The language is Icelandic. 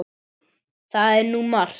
Það er nú margt.